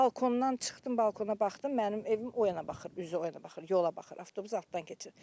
Balkondan çıxdım, balkona baxdım, mənim evim o yana baxır, üzü o yana baxır, yola baxır, avtobus altdan keçir.